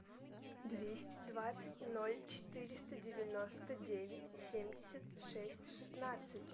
двести двадцать ноль четыреста девяносто девять семьдесят шесть шестнадцать